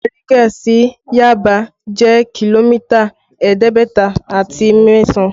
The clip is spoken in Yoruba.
Bariga sí Yaba jẹ́ kìlómítà ẹ̀ẹ́dẹ́gbẹ̀ta àti mẹ́sàn